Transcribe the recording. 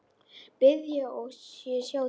Bíða og sjá til.